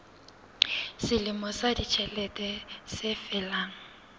selemo sa ditjhelete se felang